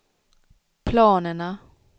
planerna